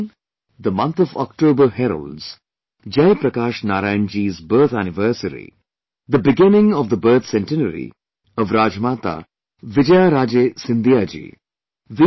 My dear countrymen, the month of October heralds, Jai Prakash Narayan ji's birth anniversary, the beginning of the birth centenary of RajmataVijayarajeScindiaji